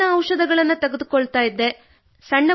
ನೋವಿನ ಔಷಧಗಳನ್ನು ತೆಗೆದುಕೊಳ್ಳುತ್ತಿದ್ದೆ